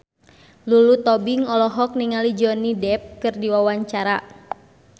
Lulu Tobing olohok ningali Johnny Depp keur diwawancara